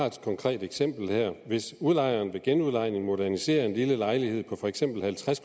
et konkret eksempel hvis udlejeren ved genudlejning moderniserer en lille lejlighed på for eksempel halvtreds